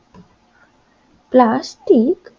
plastic